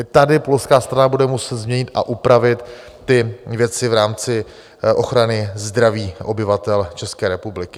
I tady polská strana bude muset změnit a upravit ty věci v rámci ochrany zdraví obyvatel České republiky.